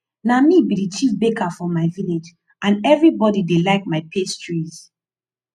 na me be the chief baker for my village and everybody dey like my pastries